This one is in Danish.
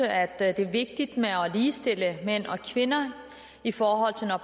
at det er vigtigt at ligestille mænd og kvinder i forhold til at